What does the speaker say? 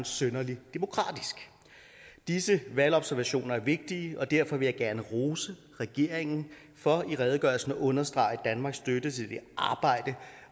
synderlig demokratisk disse valgobservationer er vigtige og derfor vil jeg gerne rose regeringen for i redegørelsen at understrege danmarks støtte til det arbejde